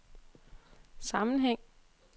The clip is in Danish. sammenhæng